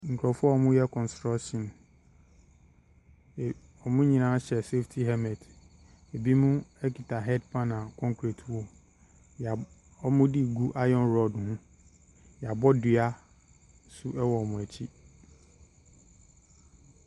Nkurɔfoɔ a wɔreyɛ construction. Ee wɔn nyina hyɛ saftey helmet. Binom kita head pan concrete wɔ mu. Wɔab wɔde regu iron rod mu. Wɔabɔ dua nso wɔ wɔn akyi.